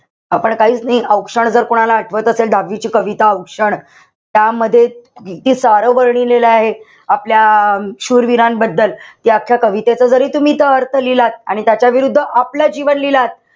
आपण काहीच नाई. औक्षण जर कोणाला आठवत असेल, दहावीची कविता औक्षण. त्यामध्ये किती सारं वर्णन लिहिलं आहे. आपल्या शूरवीरांबद्दल. त्या आख्या कवितेचं जरी तुम्ही इथं अर्थ लिहिलात. आणि त्याच्याविरुद्ध आपलं जीवन लिहिलात.